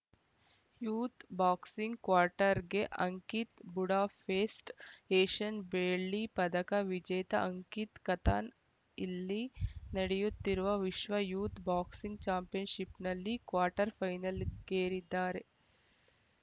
youth boxing ಕ್ವಾರ್ಟರ್‌ಗೆ Ankit Budapest Asian ಬೆಳ್ಳಿ ಪದಕ ವಿಜೇತ ಅಂಕಿತ್‌ ಖತನ್ ಇಲ್ಲಿ ನಡೆಯುತ್ತಿರುವ ವಿಶ್ವ ಯೂತ್‌ ಬಾಕ್ಸಿಂಗ್‌ ಚಾಂಪಿಯನ್‌ಶಿಪ್‌ನಲ್ಲಿ ಕ್ವಾರ್ಟರ್‌ ಫೈನಲ್‌ಗೇರಿದ್ದಾರೆ